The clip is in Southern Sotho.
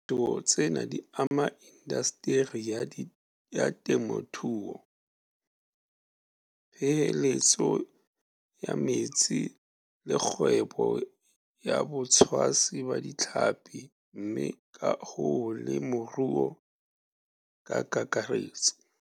Diphetoho tsena di ama indaseteri ya temothuo, peeheletso ya metsi le kgwebo ya botshwasi ba ditlhapi mme ka hoo le moruo ka kakaretso.